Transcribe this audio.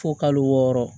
Fo kalo wɔɔrɔ